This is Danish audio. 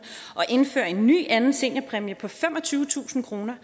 og indføre en ny anden seniorpræmie på femogtyvetusind kroner